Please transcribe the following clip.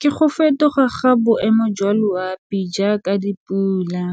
Ke go fetoga ga boemo jwa loapi jaaka dipula